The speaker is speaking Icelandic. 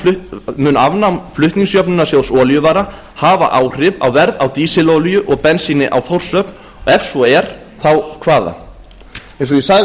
önnur mun afnám flutningsjöfnunarsjóðs olíuvara hafa áhrif á verð á dísilolíu og bensíni á þórshöfn og ef svo er þá hvaða eins og ég